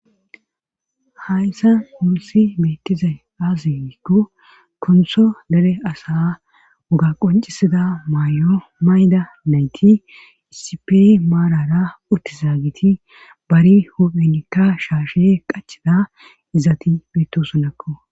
Hayssa muusi beetizay aaze giikko konso dere asaa wogaa qonccisya mayo mayida nayti issipe maarara uttizageti bare huuphenikka shaashe qacida izati beettoosonakko